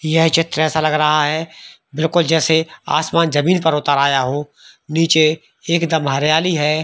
यह चित्र ऐसा लग रहा है बिलकुल जैसे आसमान जमीन पर उतर आया हो नीचे एकदम हरियाली है।